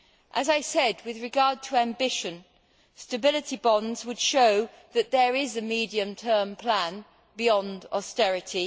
As I said with regard to ambition, stability bonds would show that there is a medium term plan beyond austerity.